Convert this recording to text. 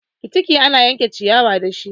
Fitiki ana yanke ciyawa ne dashi.